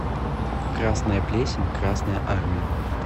красная плесень красная армия